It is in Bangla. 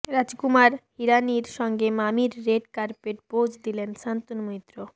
রাজকুমার হিরানির সঙ্গে মামির রেড কার্পেটে পোজ দিলেন শান্তনু মৈত্র